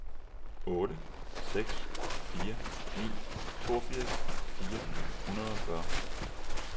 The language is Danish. otte seks fire ni toogfirs fire hundrede og fyrre